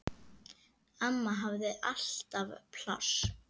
Amma hafði alltaf pláss.